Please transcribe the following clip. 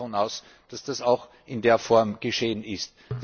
Ich gehe davon aus, dass das auch in der Form geschehen ist.